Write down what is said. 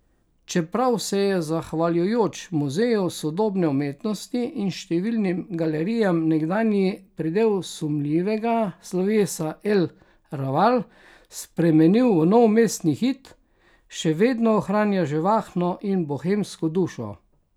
Čeprav se je zahvaljujoč Muzeju sodobne umetnosti in številnim galerijam nekdanji predel sumljivega slovesa El Raval spremenil v nov mestni hit, še vedno ohranja živahno in bohemsko dušo.